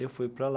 Eu fui para lá.